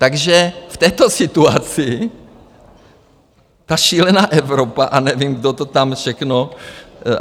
Takže v této situaci ta šílená Evropa, a nevím, kdo to tam všechno...